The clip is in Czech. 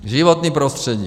Životní prostředí.